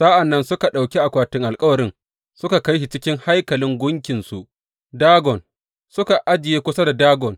Sa’an nan suka ɗauki akwatin alkawarin suka kai shi cikin haikalin gunkinsu Dagon, suka ajiye kusa da Dagon.